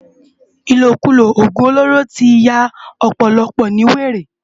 Ilókúló ógún ólóró ti yá òpòlòpò no wéré